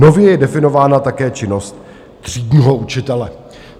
Nově je definována také činnost třídního učitele.